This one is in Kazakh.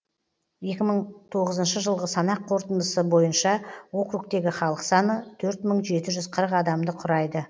екі мың тоғызыншы жылғы санақ қорытындысы бойынша округтегі халық саны төрт мың жеті жүз қырық адамды құрайды